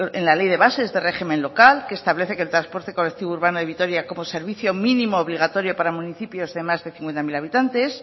en la ley de bases del régimen local que establece que el transporte colectivo urbano de vitoria como servicio mínimo obligatorio para municipios de más de cincuenta mil habitantes